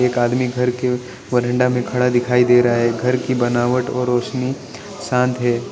एक आदमी घर के वेरिनडा में खड़ा दिखाई दे रहा है घर की बनावट और रोशनी शांत है।